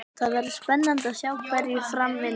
Það verður spennandi að sjá hverju fram vindur.